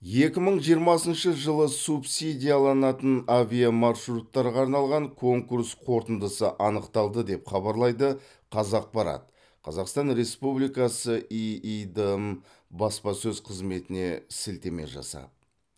екі мың жиырмасыншы жылы субсидияланатын авиамаршруттарға арналған конкурс қорытындысы анықталды деп хабарлайды қазақпарат қазақстан республикасы иидм баспасөз қызметіне сілтеме жасап